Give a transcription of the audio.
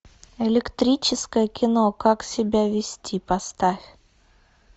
электрическое кино как себя вести поставь